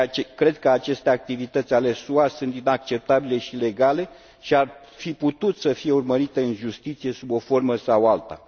Cred că aceste activități ale SUA sunt inacceptabile și ilegale și ar fi putut să fie urmărite în justiție, sub o formă sau alta.